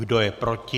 Kdo je proti?